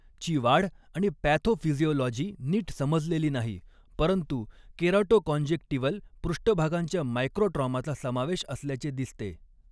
ची वाढ आणि पॅथोफिजियोलॉजी नीट समजलेली नाही, परंतु केराटोकॉन्जेक्टिव्हल पृष्ठभागांच्या मायक्रोट्रॉमाचा समावेश असल्याचे दिसते.